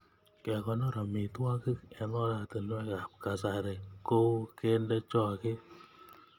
Kekonor amitwogik eng oratinwekab kasari kou kende choget